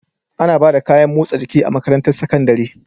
Ana Bada kayan motsa jiki a makarantar sakandari